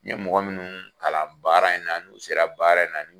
N ye mɔgɔ munnu kalan baara in na n'u sera baara in na